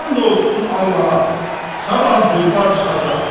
And olsun Allaha, sabah züvvar çıxacaq.